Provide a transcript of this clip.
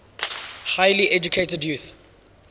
highly educated youth